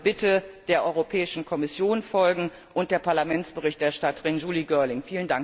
Also bitte Der Europäischen Kommission folgen und der Parlamentsberichterstatterin Julie Girling.